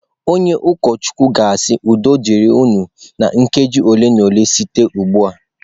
Onye ụkọchukwu ga-asị " udo dịrị unu"na nkeji ole na ole site ugbu a.